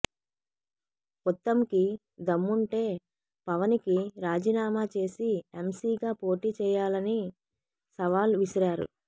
ఉత్తమ్ కి దమ్ముంటే పవనికి రాజీ నామా చేసి ఎంసీగా పోటి చేయాలని సవాల్ విసిరారు